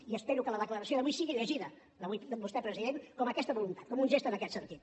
i espero que la declaració d’avui sigui llegida d’avui de vostè president com aquesta voluntat com un gest en aquest sentit